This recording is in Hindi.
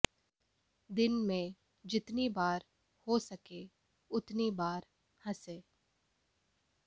दिन में जितनी बार हो सके उतनी बार हंसे